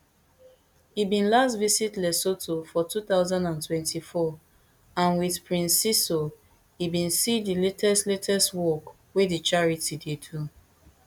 e bin last visit lesotho for two thousand and twenty-four and wit prince seeiso e bin see di latest latest work wey di charity dey do